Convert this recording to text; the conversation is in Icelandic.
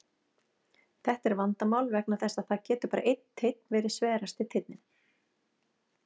Þetta er vandamál vegna þess að það getur bara einn teinn verið sverasti teinninn.